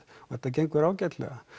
og þetta gengur ágætlega